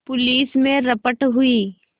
police में रपट हुई